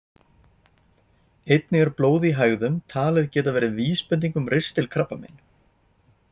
Einnig er blóð í hægðum talið geta verið vísbending um ristilkrabbamein.